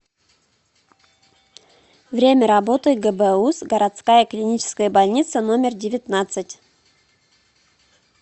время работы гбуз городская клиническая больница номер девятнадцать